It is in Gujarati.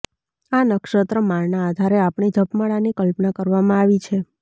આ નક્ષત્રમાળના આધારે આપણી જપમાળાની કલ્પના કરવામાં આવી છે